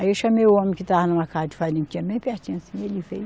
Aí eu chamei o homem que estava numa casa de farinha, que tinha bem pertinho assim, ele veio.